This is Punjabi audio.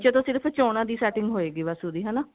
ਨਿੱਚੇ ਤੋਂ ਸਿਰਫ ਚੋਣਾ ਦੀ setting ਹੋਏਗੀ ਬਸ ਉਹਦੀ ਹਨਾ